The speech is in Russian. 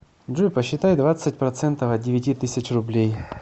джой посчитай двадцать процентов от девяти тысяч рублей